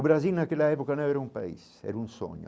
O Brasil naquela época não era um país, era um sonho.